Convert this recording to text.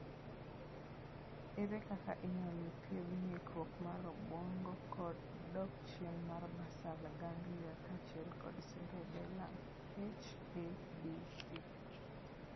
Ere kaka inyalo thiedh ng'ikruok mar obuongo kod dok chien mar basal ganglia kaachiel kod cerebellum (H ABC)?